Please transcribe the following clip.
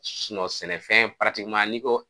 sɛnɛfɛn n'i ko